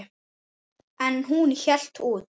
En hún hélt út.